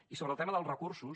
i sobre el tema dels recursos